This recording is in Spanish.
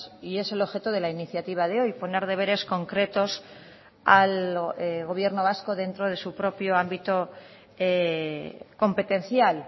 y es el objeto de la iniciativa de hoy poner deberes concretos al gobierno vasco dentro de su propio ámbito competencial